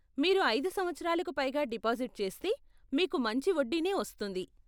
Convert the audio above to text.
మీరు ఐదు సంవత్సరాలకు పైగా డిపాజిట్ చేస్తే, మీకు మంచి వడ్డీనే వస్తుంది.